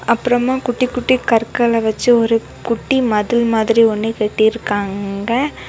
அப்புறமா குட்டி குட்டி கற்களை வச்சி ஒரு குட்டி மதில் மாதிரி ஒன்னு கட்டி இருக்காங்க.